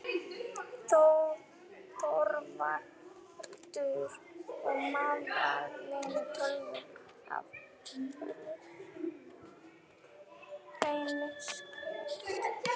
ÞORVALDUR: Og meðal vina tölum við af fullri hreinskilni.